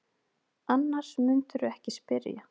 Annars mundirðu ekki spyrja.